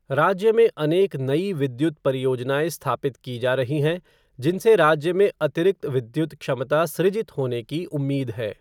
राज्य में अनेक नई विद्युत परियोजनाएँ स्थापित की जा रही हैं जिनसे राज्य में अतिरिक्त विद्युत क्षमता सृजित होने की उम्मीद है।